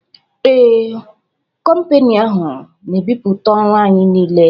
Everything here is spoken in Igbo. Ee, kompani ahụ n'ebiputa ọrụ anyị niile